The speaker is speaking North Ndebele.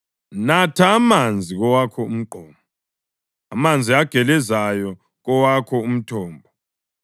Natha amanzi kowakho umgqomo, amanzi agelezayo kowakho umthombo.